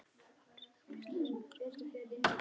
Appelsínur? hvíslaði sú hugaðasta en enginn heyrði í henni.